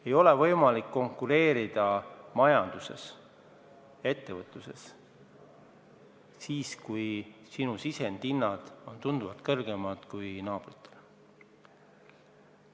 Ei ole võimalik majanduses, ettevõtluses konkureerida, kui sinu sisendite hinnad on tunduvalt kõrgemad kui naabritel.